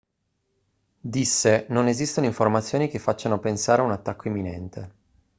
disse non esistono informazioni che facciano pensare a un attacco imminente